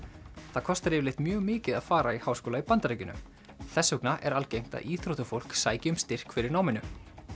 það er kostar yfirleitt mjög mikið að fara í háskóla í Bandaríkjunum þess vegna er algengt að íþróttafólk sæki um styrk fyrir náminu